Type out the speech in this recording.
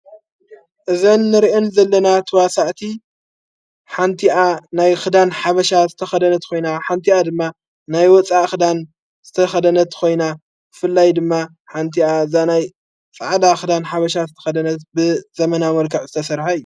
እዘ ንርእን ዘለና ተዋሳዕቲ ሓንቲኣ ናይ ኽዳን ሓበሻ ዝተኸደነት ኾይና ሓንቲኣ ድማ ናይ ወፃ ኽዳን ዝተኸደነት ኾይና ፍላይ ድማ ሓንቲኣ ናይ ፀዕዳ ኽዳን ሓበሻ ዝተኸደነት ዘመና መልከዕ ዘተሠርሐ እዮ።